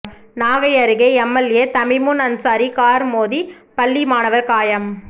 நாகை அருகே MLA Thamimun Ansari car மோதி பள்ளி மாணவர் காயம்